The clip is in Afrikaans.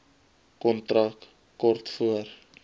kontak kort voor